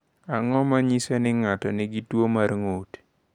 Ang’o ma nyiso ni ng’ato nigi tuwo mar ng’ut?